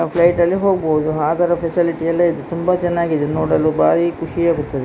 Flight ಅಲ್ಲಿ ಹೋಗಬಹುದು ಆ ತರ ಫೆಸಿಲಿಟಿ ಎಲ್ಲಇದೆ ತುಂಬ ಚೆನ್ನಾಗಿ ಇದೆ ನೋಡಲು ಭಾರಿ ಖುಷಿ ಆಗುತ್ತದೆ.